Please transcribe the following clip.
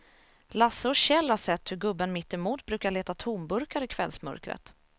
Lasse och Kjell har sett hur gubben mittemot brukar leta tomburkar i kvällsmörkret.